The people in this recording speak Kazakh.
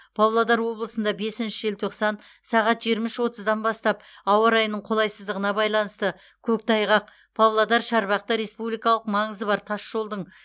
павлодар облысында бесінші желтоқсан сағат жиырма үш отыздан бастап ауа райының қолайсыздығына байланысты көктайғақ павлодар шарбақты республикалық маңызы бар тасжолдың